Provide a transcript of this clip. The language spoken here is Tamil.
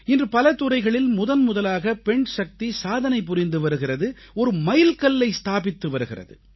இன்று பல துறைகளில் முதன்முதலாக பெண்சக்தி சாதனை புரிந்து வருகிறது ஒரு மைல்கல்லை ஸ்தாபித்து வருகிறது